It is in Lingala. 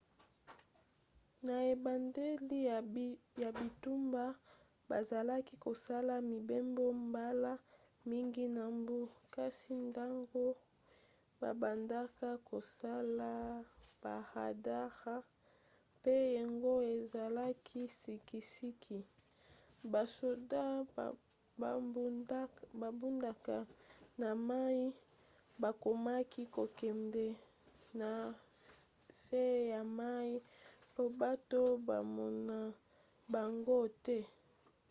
na ebandeli ya bitumba bazalaki kosala mibembo mbala mingi na mbu kasi ntango babandaka kosala baradare pe yango ezalaki sikisiki basoda babundaka na mai bakomaki kokende na se ya mai mpo bato bamona bango te